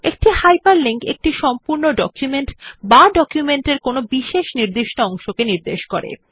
একটি হাইপারলিংক একটি সম্পূর্ণ ডকুমেন্ট বা ডকুমেন্ট এর কোনো নির্দিষ্ট অংশকে নির্দেশ করে